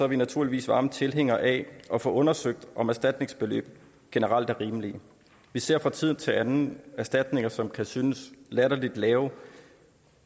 vi naturligvis varme tilhængere af at få undersøgt om erstatningsbeløb generelt er rimelige vi ser fra tid til anden erstatninger som kan synes latterligt lave